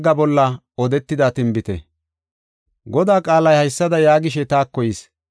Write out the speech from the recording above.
Godaa qaalay haysada yaagishe taako yis.